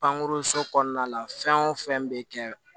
Pankuruso kɔnɔna la fɛn o fɛn bɛ kɛ